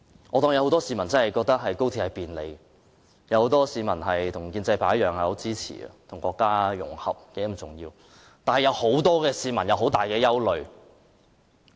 我假設很多市民的確覺得高鐵可帶來很大便利，他們與建制派一樣，認為與國家融合十分重要，但亦有很多市民有很大憂慮。